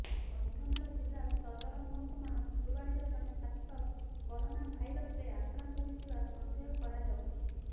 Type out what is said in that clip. କନ୍ଧମାଳ ଜିଲ୍ଲା ସଦର ମହକୁମା ଫୁଲବାଣୀର ଜଣେ ଛାତ୍ର କରୋନା ଭାଇରସ୍ରେ ଆକ୍ରାନ୍ତ ହୋଇଥିବା ସନ୍ଦେହ କରାଯାଉଛି